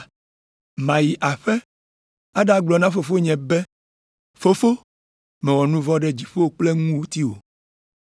Mayi aƒe aɖagblɔ na fofonye be, “Fofo, mewɔ nu vɔ̃ ɖe dziƒo kple ŋutiwò,